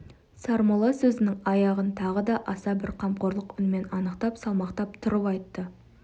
сармолла сөзінің аяғын тағы да аса бір қамқорлық үнмен анықтап салмақтап тұрып айтты